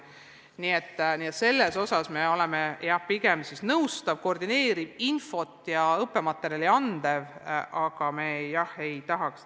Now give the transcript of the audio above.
Nii et selles osas me oleme, jah, pigem nõustav, koordineeriv, infot ja õppematerjali andev.